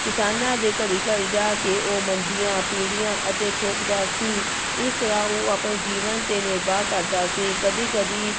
ਕਿਸਾਨਾਂ ਦੇ ਘਰੇ ਘਰੇ ਜਾ ਕੇ ਉਹ ਮੰਜੀਆਂ, ਪੀੜੀਆਂ ਅਤੇ ਥੋਕਦਾ ਸੀ, ਇਸ ਤਰ੍ਹਾਂ ਉਹ ਆਪਣੇ ਜੀਵਨ ਤੇ ਨਿਰਵਾਹ ਕਰਦਾ ਸੀ ਕਦੇ ਕਦੇ